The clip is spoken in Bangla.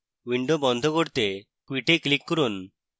window বন্ধ করতে quit এ click করুন